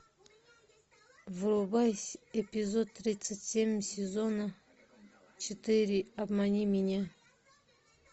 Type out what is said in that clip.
врубай эпизод тридцать семь сезона четыре обмани меня